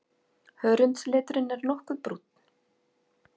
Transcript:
Hörundsliturinn nokkuð brúnn.